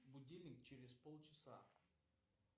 будильник через полчаса